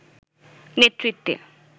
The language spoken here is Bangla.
নেতৃত্বে